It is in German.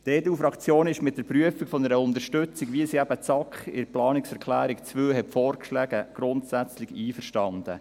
Die EDU-Fraktion ist mit der Prüfung einer Unterstützung, wie sie eben die SAK in der Planungserklärung 2 vorgeschlagen hat, grundsätzlich einverstanden.